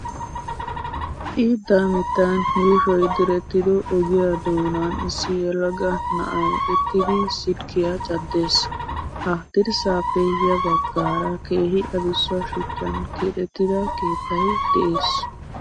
Xiidda mittan yuushoyi direttido ogiya doonanissi yelaga na''ayi uttidi silkkiyaa caddes. Ha dirssaappe ya baggaara keehi adussa shuchchan keexettida keettayi des.